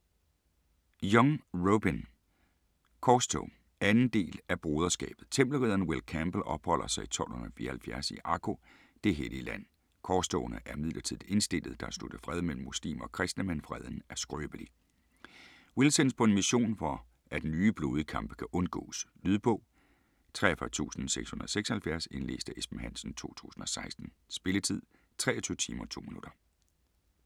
Young, Robyn: Korstog 2. del af Broderskabet. Tempelridderen Will Campbell opholder sig i 1274 i Akko, det hellige Land. Korstogene er midlertidigt indstillede, der er sluttet fred mellem muslimer og kristne, men freden er skrøbelig. Will sendes på en mission for at nye blodige kampe kan undgås. . Lydbog 43676 Indlæst af Esben Hansen, 2016. Spilletid: 23 timer, 2 minutter.